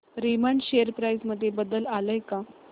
Raymond share price मध्ये बदल आलाय का